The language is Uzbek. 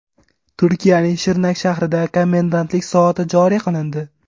Turkiyaning Shirnak shahrida komendantlik soati joriy qilindi.